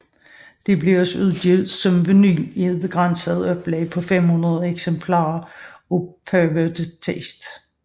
Det blev også udgivet som vinyl i et begrænset oplag på 500 eksemplarer af Perverted Taste